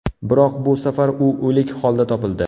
Biroq bu safar u o‘lik holda topildi.